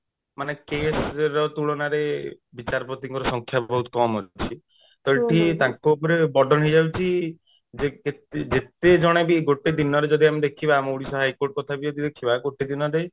ମାନେ case ର ତୁଳନାରେ ବିଚାରପତିଙ୍କର ସଂଖ୍ୟା ବହୁତ କମ ଅଛି ତ ଏଠି ତାଙ୍କ ଉପରେ burden ହେଇଯାଉଛି ଯେ କେତେ ଯେତେ ଜଣ ବି ଗୋଟେ ଦିନରେ ଯଦି ଆମେ ଦେଖିବା ଆମ ଓଡିଶା high court କଥା ବି ଯଦି ଦେଖିବା ଗୋଟେ ଦିନରେ